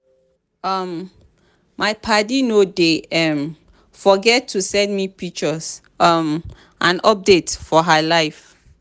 um my paddy no dey um forget to send me pictures um and updates for her life.